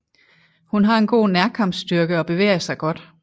Hun har en god nærkampsstyrke og bevæger sig godt